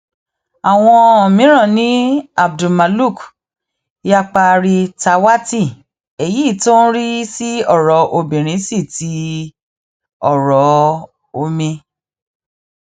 àwọn mìíràn ni abdulmaluk yaparitàwátì èyí tó ń rí sí ọrọ obìnrin sí ti ọrọ omi